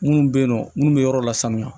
Minnu bɛ yen nɔ minnu bɛ yɔrɔ la sanuya